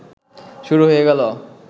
শুরু হয়ে গেল